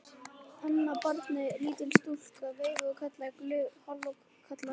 Annað barnið, lítil stúlka, veifaði og kallaði glöð: Halló kallar!